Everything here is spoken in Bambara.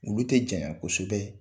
Olu tɛ janya kosɛbɛ,